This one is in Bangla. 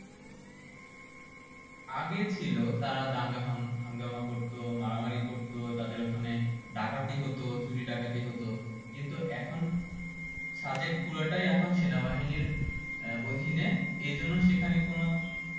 আগে ছিল তারা দাঙ্গা হাঙ্গ~হাঙ্গামা করতো মারামারি করতো তাদের ওই খানে ডাকাতি হতো চুরি ডাকাতি হতো কিন্তু এখন সাদেক পুরোটাই এখন সেনাবাহিনীর আহ অধীনে এই জন্য সেখানে কোনো